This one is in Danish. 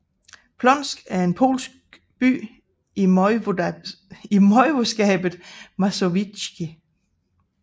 Płońsk er en polsk by i voivodskabet Mazowieckie